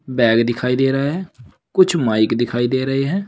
Bag दिखाई दे रहा हैं कुछ माइक दिखाई दे रहे हैं।